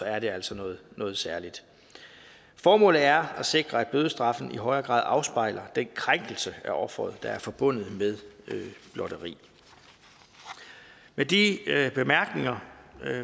er det altså noget noget særligt formålet er at sikre at bødestraffen i højere grad afspejler den krænkelse af offeret der er forbundet med blotteri med de bemærkninger